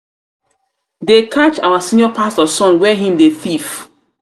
they catch our senior pastor son where he dey thief.